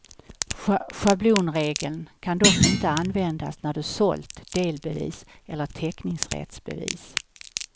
Schablonregeln kan dock inte användas när du sålt delbevis eller teckningsrättsbevis.